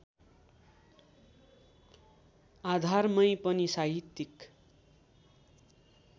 आधारमै पनि साहित्यिक